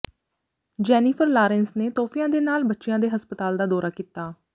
Jennifer Lawrence ਨੇ ਤੋਹਫ਼ਿਆਂ ਦੇ ਨਾਲ ਬੱਚਿਆਂ ਦੇ ਹਸਪਤਾਲ ਦਾ ਦੌਰਾ ਕੀਤਾ